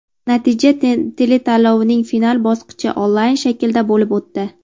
natija teletanlovining final bosqichi onlayn shaklda bo‘lib o‘tdi.